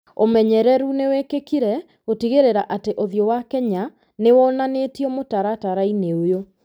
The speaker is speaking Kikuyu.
ũmenyereru nĩ wĩkĩkire gũtigĩrĩra atĩ ũthiũ wa Kenya nĩ wonanĩtio mũtaratara-inĩ ũyũ.